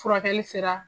Furakɛli sera